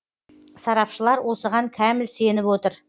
сарапшылар осыған кәміл сеніп отыр